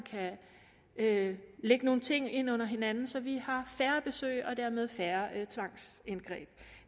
kan lægge nogle ting ind under hinanden så vi har færre besøg og dermed færre tvangsindgreb